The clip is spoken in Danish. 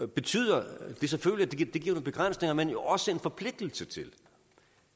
betyder det selvfølgelig at det giver nogle begrænsninger men jo også en forpligtelse til